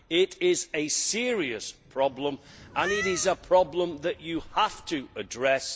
It is a serious problem and it is a problem that you have to address.